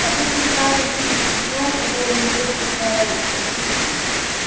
обычный старый питерский дом которому лет полтораста